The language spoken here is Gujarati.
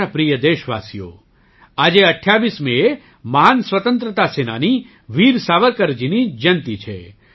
મારા પ્રિય દેશવાસીઓ આજે ૨૮ મેએ મહાન સ્વતંત્રતા સેનાની વીર સાવરકરજીની જયંતી છે